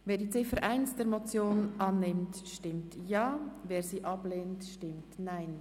Wer die Ziffer 1 der Motion annimmt, stimmt Ja, wer diese ablehnt, stimmt Nein.